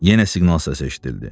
Yenə siqnal səsi eşidildi.